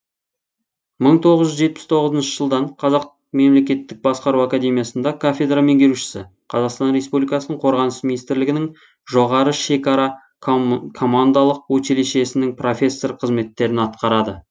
мың тоғыз жетпіс тоғызыншы жылдан қазақ мемлекеттік басқару академиясында кафедра меңгерушісі қазақстан республикасының қорғаныс министрилігінің жоғары шекара командалық училищесінің профессор қызметтерін атқарады